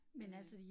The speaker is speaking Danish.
Øh